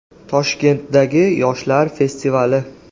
Toshkentdagi yoshlar festivali.